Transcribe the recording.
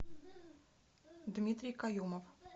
дмитрий каюмов